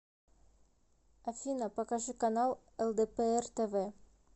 афина покажи канал лдпр тв